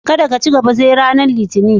Kadda da ci gaba sai ranan Litinin.